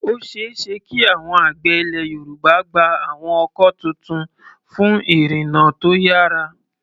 Ó ṣeé ṣe kí àwọn àgbẹ̀ Ilẹ̀ Yorùbá gba àwọn ọkọ̀ tuntun fún ìrìnnà tó yára.